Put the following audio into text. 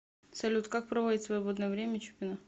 салют как проводит свободное время чупина